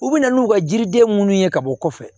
U bɛ na n'u ka jiriden minnu ye ka bɔ kɔfɛ